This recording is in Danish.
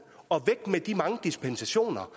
og væk med de mange dispensationer